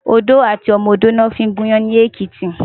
Odó àti ọmọ odó lò fin gún iyàn ni Ekiti